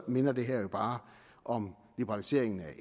minder det her jo bare om liberaliseringen af